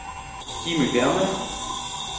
Jimmy Bergmann